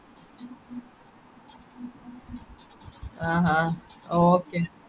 ആഹ് ഹാ okay